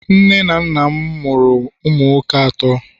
nne na nna m amuru umu nwoke ato